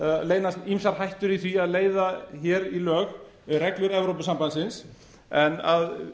leynast ýmsar hættur í því að leiða hér lög reglur evrópusambandsins en að